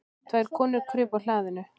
Tvær konur krupu á hlaðinu.